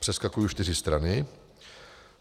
Přeskakuji čtyři strany.